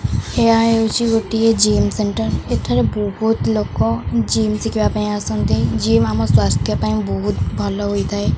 ଏହା ହେଉଚି ଗୋଟିଏ ଜିମ୍ ସେଣ୍ଟର୍ ଏଠାରେ ବହୁତ ଲୋକ ଜିମ୍ ଶିଖିବା ପାଇଁ ଆସନ୍ତି ଜିମ୍ ଆମ ସ୍ବାସ୍ଥ୍ୟ ପାଇଁ ବହୁତ ଭଲ ହୋଇଥାଏ।